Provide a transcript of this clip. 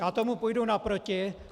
Já tomu půjdu naproti.